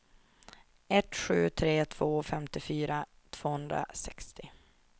ett sju tre två femtiofyra tvåhundrasextio